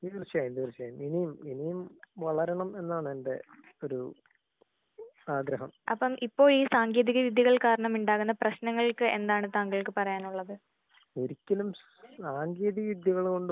തീർച്ചയായും തീർച്ചയായും. ഇനി ഇനിയും വളരണം എന്നാണ് എന്റെ ഒരു ആഗ്രഹം. ഒരിക്കലും സാങ്കേതിക വിദ്യകള് കൊണ്ട്